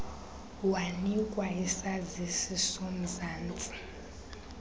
wanikwa isazisi somzantsi